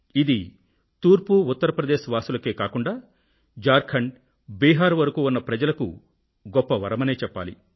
ఇది తూర్పు ఉత్తర ప్రదేశ్ వాసులకే కాకుండా ఝార్ఖండ్ బిహార్ ల వరకూ ఉన్న ప్రజలకు గొప్ప వరమనే చెప్పాలి